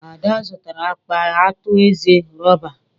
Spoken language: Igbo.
Ada zụtara akpa atu eze rọba.